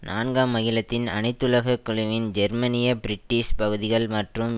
நான்காம் அகிலத்தின் அனைத்துலக குழுவின் ஜெர்மனிய பிரிட்டிஷ் பகுதிகள் மற்றும்